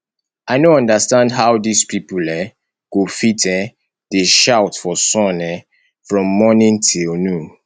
i no understand how dis people um go fit um dey shout for sun um from morning till noon